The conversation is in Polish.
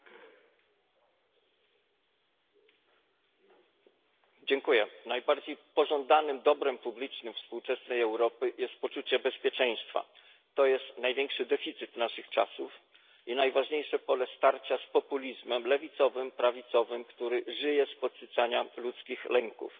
Pani Przewodnicząca! Najbardziej pożądanym dobrem publicznym współczesnej Europy jest poczucie bezpieczeństwa. To jest największy deficyt naszych czasów i najważniejsze pole starcia z lewicowym i prawicowym populizmem, który żyje z podsycania ludzkich lęków.